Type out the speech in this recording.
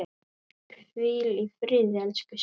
Hvíl í friði, elsku Svava.